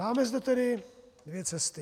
Máme zde tedy dvě cesty.